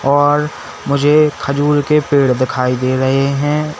और मुझे खजूर के पेड़ दिखाई दे रहे हैं।